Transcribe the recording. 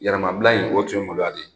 Yɛrɛmabila in o tun ye moloya de ye.